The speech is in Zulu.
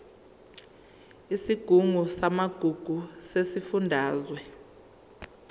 isigungu samagugu sesifundazwe